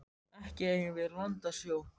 Ekki eigum við land að sjó.